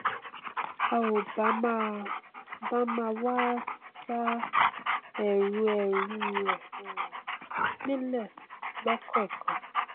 a ò bá máa bá máa wá ṣa ẹ̀ru ẹ̀ru rẹ um nílẹ lọkọọkan